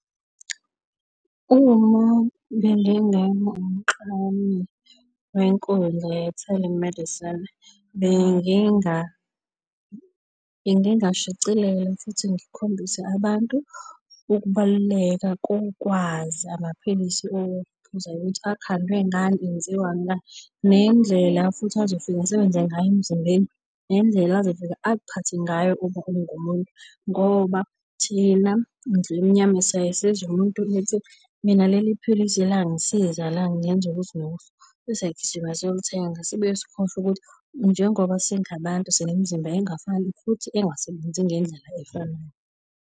Uma bengingaba umklami wenkundla ye-telemedicine, bengingashicilela futhi ngikhombise abantu ukubaluleka kokwazi amaphilisi okuphuza ukuthi akhandwe ngani, enziwa ngani, nendlela futhi azofika asebenze ngayo emzimbeni, nendlela azofika akuphathe ngayo uma ungumuntu. Ngoba thina ndlwemnyama siyaye sizwe umuntu ethi, mina leli philisi langisiza langenza ukuthi nokuthi ebese siyagijima siyolithenga, sibuye sikhohlwe ukuthi njengoba singabantu sinemizimba engafani futhi engasebenzi ngendlela efanayo.